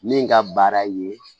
Min ka baara ye